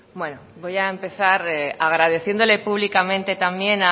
bueno voy a empezar agradeciéndole públicamente también